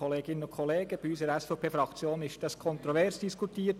Bei uns in der SVP-Fraktion wurde das kontrovers diskutiert.